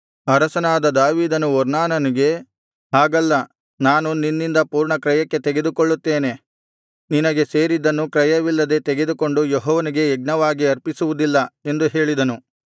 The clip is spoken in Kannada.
ಅರಸನಾದ ದಾವೀದನು ಒರ್ನಾನನಿಗೆ ಹಾಗಲ್ಲ ನಾನು ನಿನ್ನಿಂದ ಪೂರ್ಣ ಕ್ರಯಕ್ಕೆ ತೆಗೆದುಕೊಳ್ಳುತ್ತೇನೆ ನಿನಗೆ ಸೇರಿದ್ದನ್ನು ಕ್ರಯವಿಲ್ಲದೆ ತೆಗೆದುಕೊಂಡು ಯೆಹೋವನಿಗೆ ಯಜ್ಞವಾಗಿ ಅರ್ಪಿಸುವುದಿಲ್ಲ ಎಂದು ಹೇಳಿದನು